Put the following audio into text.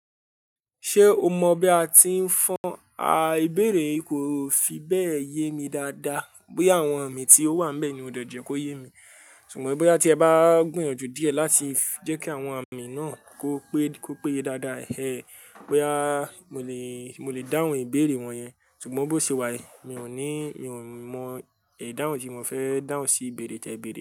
Ṣé o mọ bí a ti ń fọn á ìbéèrè kò fi bẹ́ẹ̀ yé mi dáadáa. Bí àwọn àmì tí ó wà níbẹ̀ ni ó de je kó yé mi. Àmọ́ bóyá tí ẹ bá gbìyànjú díẹ̀ láti jẹ́ kí àwọn àmì náà kó péye dáadáa he bóyá mo lè dáhùn ìbéèrè wọ̀nyẹn. Ṣùgbọ́n bó ṣe wà ẹ mi ò ní mọ idáhun tí mo fẹ́ dáhùn sí ìbéèrè tí ẹ béèrè.